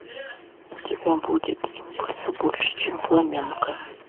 у тебя будет импульсо больше чем фламенко